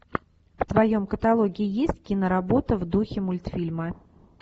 в твоем каталоге есть киноработа в духе мультфильма